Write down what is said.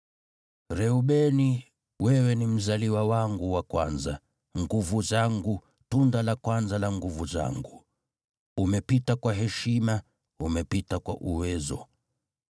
“Reubeni, wewe ni mzaliwa wangu wa kwanza, nguvu zangu, tunda la kwanza la nguvu zangu, umepita kwa heshima, umepita kwa uwezo.